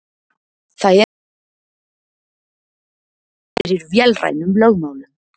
Það eru engar tilviljanir heldur gengur heimurinn fyrir vélrænum lögmálum.